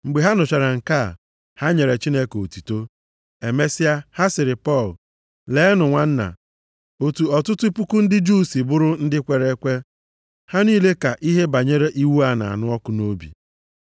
Mgbe ha nụchara nke a, ha nyere Chineke otuto. Emesịa, ha sịrị Pọl, “Leenụ nwanna, otu ọtụtụ puku ndị Juu si bụrụ ndị kwere ekwe, ha niile ka ihe banyere iwu a na-anụ ọkụ nʼobi.